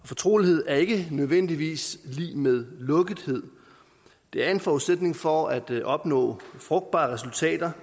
fortrolighed er ikke nødvendigvis lig med lukkethed det er en forudsætning for at opnå frugtbare resultater